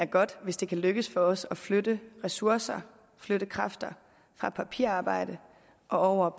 godt hvis det kan lykkes for os at flytte ressourcer flytte kræfter fra papirarbejde og over